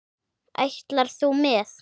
Ætlar þú með?